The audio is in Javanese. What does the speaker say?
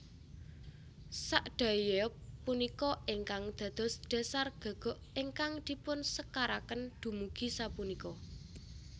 Sakdaeyeob punika ingkang dados dhasar gagok ingkang dipunsekaraken dumugi sapunika